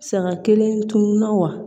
Saga kelen tununna wa